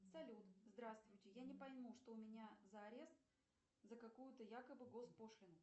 салют здравствуйте я не пойму что у меня за арест за какую то якобы госпошлину